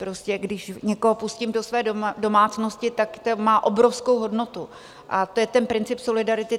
Prostě když někoho pustím do své domácnosti, tak to má obrovskou hodnotu, a to je ten princip solidarity.